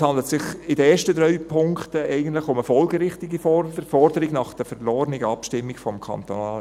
Es handelt sich in den ersten drei Punkten eigentlich um eine folgerichtige Forderung nach der verlorenen Abstimmung zum KEnG.